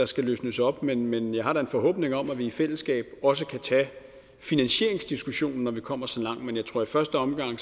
skal løsnes op men men jeg har da en forhåbning om at vi i fællesskab også kan tage finansieringsdiskussionen når vi kommer så langt men jeg tror i første omgang